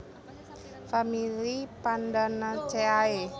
Famili Pandanaceae